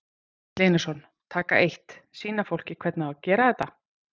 Egill Einarsson: Taka eitt, sýna fólki hvernig á að gera þetta?